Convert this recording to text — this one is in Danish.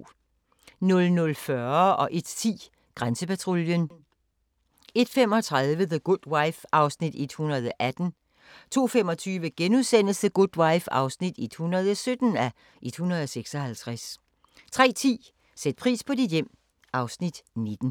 00:40: Grænsepatruljen 01:10: Grænsepatruljen 01:35: The Good Wife (118:156) 02:25: The Good Wife (117:156)* 03:10: Sæt pris på dit hjem (Afs. 19)